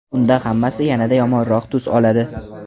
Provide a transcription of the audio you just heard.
unda hammasi yanada yomonroq tus oladi.